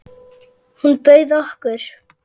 Hún bauð okkur.